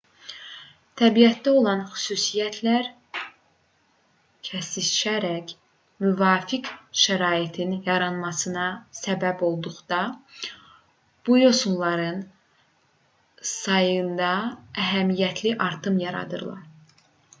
təbiətdə olan xüsusiyyətlər kəsişərək müvafiq şəraitin yaranmasına səbəb olduqda bu yosunların sayında əhəmiyyətli artım yaradır